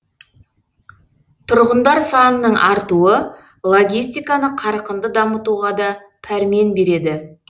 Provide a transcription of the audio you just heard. тұрғындар санының артуы логистиканы қарқынды дамытуға да пәрмен береді